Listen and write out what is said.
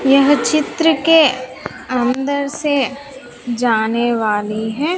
यह चित्र के अंदर से जाने वाली है।